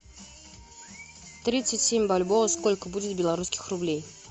тридцать семь бальбоа сколько будет белорусских рублей